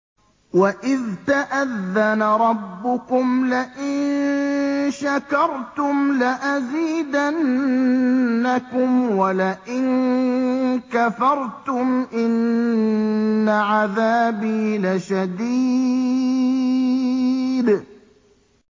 وَإِذْ تَأَذَّنَ رَبُّكُمْ لَئِن شَكَرْتُمْ لَأَزِيدَنَّكُمْ ۖ وَلَئِن كَفَرْتُمْ إِنَّ عَذَابِي لَشَدِيدٌ